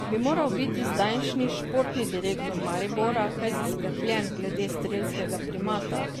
Bi moral biti zdajšnji športni direktor Maribora kaj zaskrbljen glede strelskega primata?